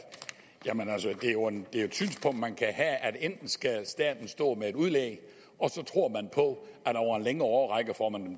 et synspunkt man kan have at enten skal staten stå med et udlæg og så tror man på at over en længere årrække får man